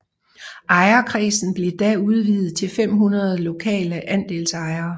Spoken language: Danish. Ejerkredsen blev da udvidet til 500 lokale andelsejere